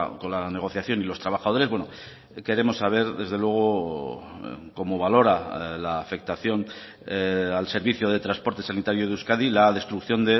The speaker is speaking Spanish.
con la negociación y los trabajadores queremos saber desde luego cómo valora la afectación al servicio de transporte sanitario de euskadi la destrucción